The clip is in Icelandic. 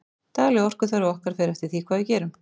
dagleg orkuþörf okkar fer eftir því hvað við gerum